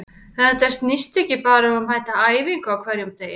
Þetta snýst ekki bara um að mæta á æfingu á hverjum degi.